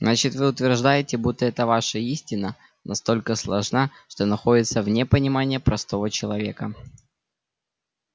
значит вы утверждаете будто эта ваша истина настолько сложна что находится вне понимания простого человека